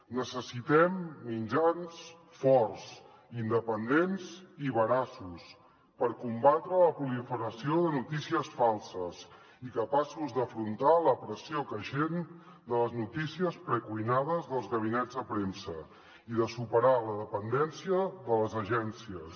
necessitem mitjans forts independents i veraços per combatre la proliferació de notícies falses i capaços d’afrontar la pressió creixent de les notícies precuinades dels gabinets de premsa i de superar la dependència de les agències